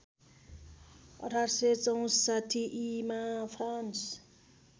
१८६४ ईमा फ्रान्स